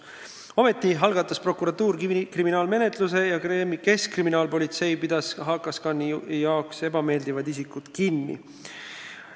Ometi algatas prokuratuur kõnealusel juhul kriminaalmenetluse ja keskkriminaalpolitsei pidas HKScani jaoks ebameeldivad isikud kinni.